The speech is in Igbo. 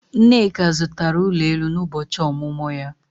Nneka zụtara ụlọ elu n'ụbọchị ọmụmụ ya